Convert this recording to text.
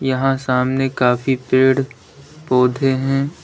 यहां सामने काफी पेड़ पौधे हैं।